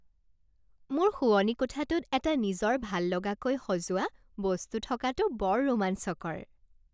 মোৰ শোৱনি কোঠাটোত এটা নিজৰ ভাললগাকৈ সজোৱা বস্তু থকাটো বৰ ৰোমাঞ্চকৰ।